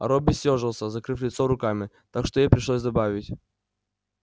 робби съёжился закрыв лицо руками так что ей пришлось добавить